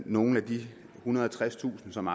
nogle af de ethundrede og tredstusind som